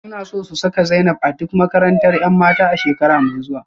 Suna so su saka Zainab a duk makarantar 'yan mata a shekara mai zuwa